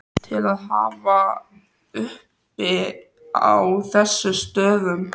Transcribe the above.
til að hafa uppi á þessum stöðum.